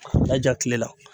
N'a ja tile la.